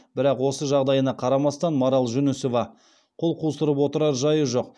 бірақ осы жағдайына қарамастан марал жүнісова қол қусырып отырар жайы жоқ